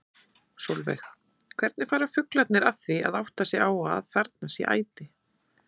Sólveig: Hvernig fara fuglarnir að því að átta sig á að þarna sé æti?